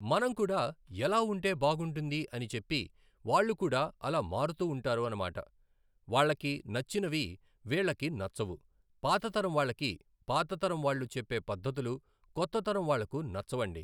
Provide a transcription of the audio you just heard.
మనం కూడా ఎలా ఉంటే బాగుంటుంది అని చెప్పి వాళ్లు కూడా అలా మారుతూ ఉంటాఋ అన్నమాట. వాళ్లకి నచ్చినవి వీళ్ళకి నచ్చవు, పాతతరం వాళ్లకి పాత తరం వాళ్ళు చెప్పే పద్ధతులు కొత్త తరం వాళ్లకు నచ్చవండి